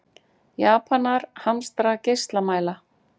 Japanar hamstra geislamæla